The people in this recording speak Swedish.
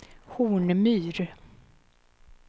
Hornmyr